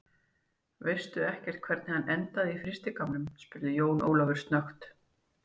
Veistu ekkert hvernig hann endaði á frystigámnum, spurði Jón Ólafur snöggt.